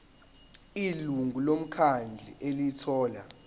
ilungu lomkhandlu elithola